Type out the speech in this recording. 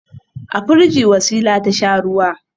A firigi Wasila ta sha ruwa.